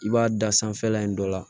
I b'a da sanfɛla in dɔ la